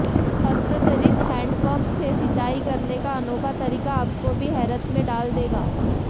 हस्तचलित handpump से सिंचाई करने का अनोखा तरीका आपकों भी हैरत में डाल देगा